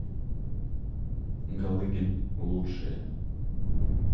галыгин лучшее